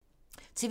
TV 2